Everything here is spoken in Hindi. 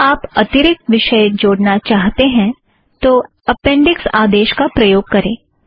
यदि आप अतिरिक्त विषय जोड़ना चाहते हैं तो अपेंड़िक्स आदेस का प्रयोग करें